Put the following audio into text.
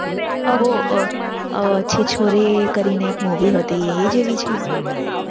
બોલ બોલ વરસાદ બૌ ઓછો છે. ચોરી કરીને એક હતી એજ જ છે. હ હ